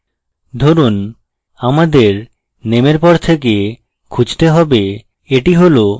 ধরুন আমাদের name পর থেকে খুঁজতে হবে